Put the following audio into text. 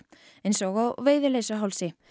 eins og á Veiðileysuhálsi